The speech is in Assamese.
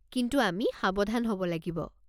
কিন্তু আমি সাৱধান হ'ব লাগিব।